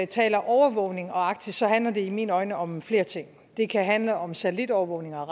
taler overvågning og arktis handler det i mine øjne om flere ting det kan handle om satellitovervågning og